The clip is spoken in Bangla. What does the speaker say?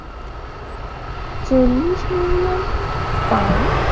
চল্লিশ মিলিয়ন পাউন্ড I